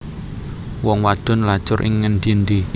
Wong wadon lacur ing ngendi endi